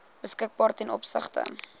beskikbaar ten opsigte